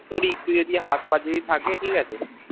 তোর একটু যদি হাত পা থাকে যদি থাকে ঠিক আছে,